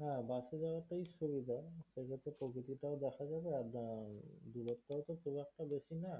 হ্যাঁ bus এ যাওয়া টাই সুবিধা যেতে যেতে প্রকৃতিটাও দেখা যাবে আর উম দূরত্বও তো খুব একটা বেশি না